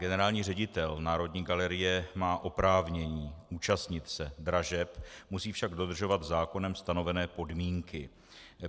Generální ředitel Národní galerie má oprávnění účastnit se dražeb, musí však dodržovat zákonem stanovené podmínky.